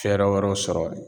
Fɛrɛ wɛrɛw sɔrɔ